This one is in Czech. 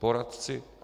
Poradci?